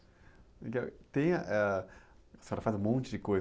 Legal, e, tem ãh, a senhora faz um monte de coisas.